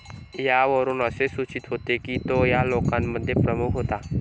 यावरून असे सूचित होते की तो या लोकांमध्ये प्रमुख होता.